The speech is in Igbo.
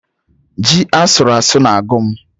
Ji asụrụ asụ na-agụ m